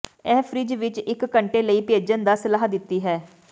ਇਹ ਫਰਿੱਜ ਵਿੱਚ ਇੱਕ ਘੰਟੇ ਲਈ ਭੇਜਣ ਦਾ ਸਲਾਹ ਦਿੱਤੀ ਹੈ